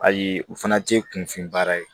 Ayi u fana tɛ kunfin baara ye